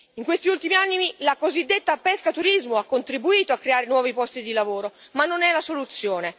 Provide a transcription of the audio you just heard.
In questi ultimi anni, la cosiddetta pescaturismo ha contribuito a creare nuovi posti di lavoro, ma non è la soluzione.